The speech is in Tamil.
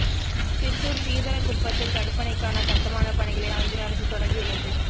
சித்தூர் சீதலகுப்பத்தில் தடுப்பணைக்கான கட்டுமான பணிகளை ஆந்திர அரசு தொடங்கியுள்ளது